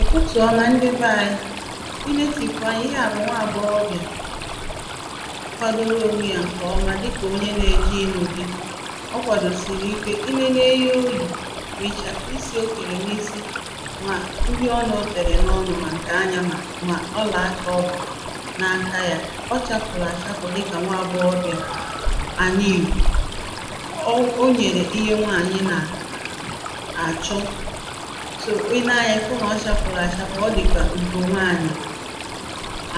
ụ̀tụtụ̀ ọma ndị be ānyị̄ ị netị̀pụ̀ anyā, ihe à bụ̀ nwa agbọghọbị̀à kwadoro onwe yā ǹkè ọma dịkà onye nā-ējē ịnụ̄ dī ọ kwàdòsìrì ike, i nene ihe o yì mà ị̀chàfù isī o kèrè n’isi mà uhie ọnụ̄ o tèrè n’ọnụ̄, mà ǹkè anyā, mà ọlà akā ọ gbà n’aka yā, ọ chāpụ̀lụ̀ achapụ̀ dịkà nwaagbọghọbị̀à àna Ìgbò o nyèrè ihe nwànyị̀ nà- àchọ i nee anya ịfụ na ọ chapụlụ achapụ, ọ dị ka Ugonwaanyị